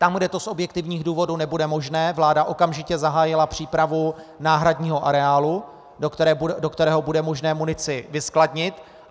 Tam, kde to z objektivních důvodů nebude možné, vláda okamžitě zahájila přípravu náhradního areálu, do kterého bude možné munici vyskladnit.